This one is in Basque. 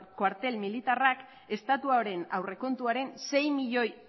koartel militarrak estatuaren aurrekontuaren sei milioi